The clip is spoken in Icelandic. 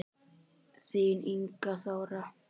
Þín Inga Þóra.